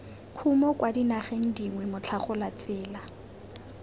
kumo kwa dinageng dingwe motlhagolatsela